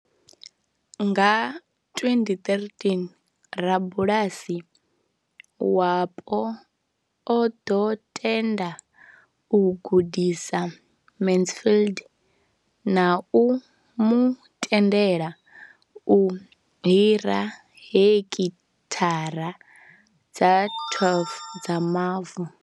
Nga 2013, rabulasi wapo o ḓo tenda u gudisa Mansfield na u mu tendela u hira hekithara dza 12 dza mavu.